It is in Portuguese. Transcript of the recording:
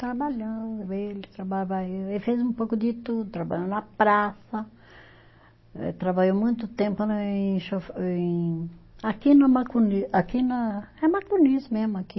Trabalhando ele, trabalhava eu, ele fez um pouco de tudo, trabalhou na praça, eh trabalhou muito tempo né em cho, em. aqui no, aqui na, é Macunis mesmo aqui.